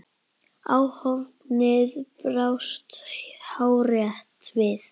Áhöfnin brást hárrétt við.